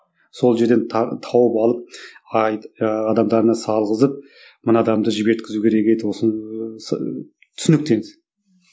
сол жерден тауып алып ы адамдарына салғызып мына адамды жіберткізу керек еді ыыы түсінікті енді